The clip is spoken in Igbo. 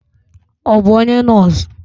Ọ bụ onye nọọsụ.